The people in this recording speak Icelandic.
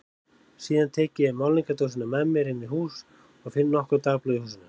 Síðan tek ég málningardósina með mér inn í hús og finn nokkur dagblöð í eldhúsinu.